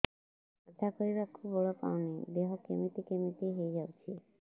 କଥା କହିବାକୁ ବଳ ପାଉନି ଦେହ କେମିତି କେମିତି ହେଇଯାଉଛି